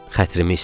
Xətrim istəyir.